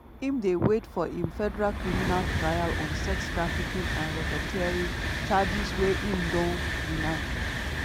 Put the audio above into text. im dey wait for im federal criminal trial on sex trafficking and racketeering charges wey im don deny.